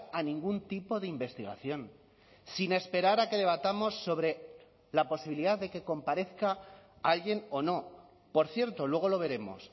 a ningún tipo de investigación sin esperar a que debatamos sobre la posibilidad de que comparezca alguien o no por cierto luego lo veremos